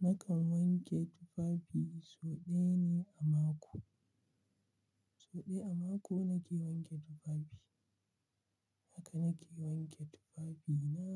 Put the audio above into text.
Nakan wanke tufafi sau ɗaya ne a mako. So ɗaya a mako nake wanke tufafi. Haka nake wanke tufafina.